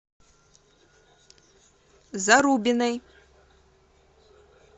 зарубиной